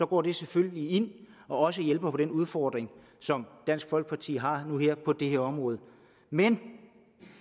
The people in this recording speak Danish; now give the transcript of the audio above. går det selvfølgelig ind og hjælper på den udfordring som dansk folkeparti har på det her område men